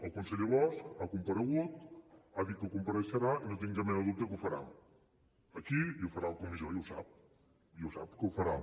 el conseller bosch ha comparegut ha dit que compareixerà i no tinc cap mena de dubte que ho farà aquí i ho farà a la comissió i ho sap i ho sap que ho farà